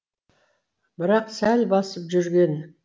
бірақ сәл басып жүрген